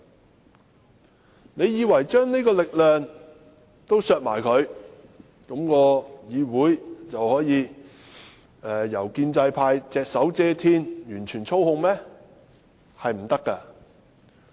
大家以為削去這種力量後，議會就可以由建制派隻手遮天，完全操控嗎？